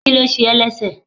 kilo se é lẹsẹ